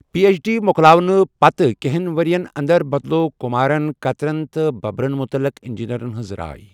P H D مۄکلاونہٕ پتہٕ کینٛہن ؤرِین انٛدر بدلوو کِمارن قطرن تہٕ بُبرن مُتعلِق اِنٛجیٖنیٚرن ہِنٛز راے۔